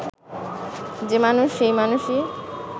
যে মানুষ সেই মানুষই